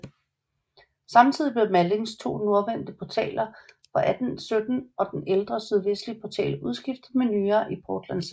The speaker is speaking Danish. Samtidig blev Mallings to nordvendte portaler fra 1817 og den ældre sydvestlige portal udskiftet med nye i portlandcement